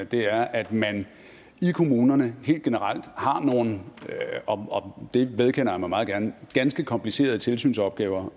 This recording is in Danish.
det her er at man i kommunerne helt generelt har nogle og det vedkender jeg mig meget gerne ganske komplicerede tilsynsopgaver